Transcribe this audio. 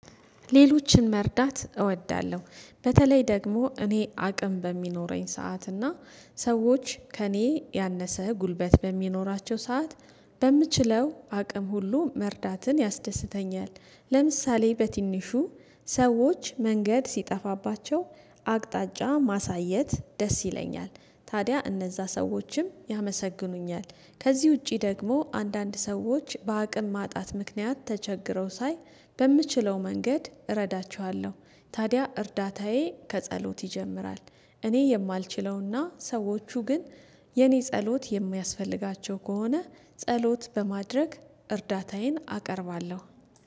ሌሎችን መርዳት እወዳለሁ በተለይ ደግሞ እኔ አቅም በሚኖረኝ ሰዓት እና ሰዎች ከእኔ ያነሰ ጉልበት በሚኖራቸው ሰዓት። በምችለው አቅም ሁሉ መርዳትን ያስደስተኛል ለምሳሌ በትንሹ ሰዎች መንገድ ሲጠፋባቸው አቅጣጫ ማሳየት ደስ ይለኛል። ታዲያ እነዛ ሰዎችም ያመሰግኑኛል። ከዚህ ውጪ ደግሞ አንዳንድ ሰዎች በአቅም ማጣት ምክንያት ተቸግረው ሳይ በምችለው መንገድ እረዳቸዋለሁ። ታዲያ እርዳታዬ ከጸሎት ይጀምራል። እኔ የማልችለውና ሰዎቹ ግን የኔ ጸሎት የሚያስፈልጋቸው ከሆነ ጸሎት በማድረግ እርዳታዬን አቀርባለሁ